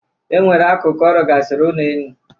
E nwere akụkụ ọ rụgasịrị ụlọenu.